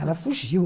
Ela fugiu.